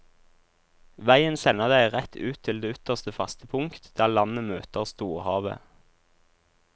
Veien sender deg rett ut til det ytterste faste punkt, der landet møter storhavet.